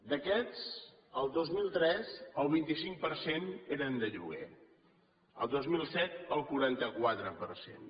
d’aquests el dos mil tres el vint cinc per cent eren de lloguer el dos mil set el quaranta quatre per cent